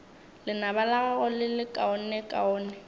lenaba la gago le lekaonekaone